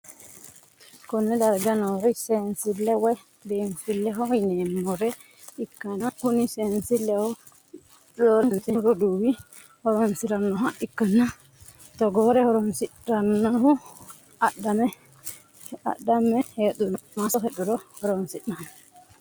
konne darga noori seensille woy biinfilleho yineemmore ikkanna, kuni seensillino roorenkanni seennu roduuwi horonsi'rannoha ikkanna, togoore horonsi'rannohu adhamme heedhuronna maasso heedhuro horonsi'ranno.